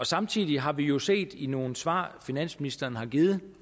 samtidig har vi jo set i nogle svar finansministeren har givet